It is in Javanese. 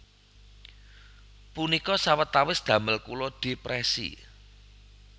Punika sawetawis damel kula depresi